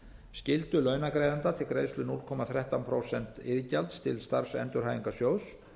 skyldu launagreiðenda til greiðslu núll komma þrettán prósent iðgjalds til starfsendurhæfingarsjóðs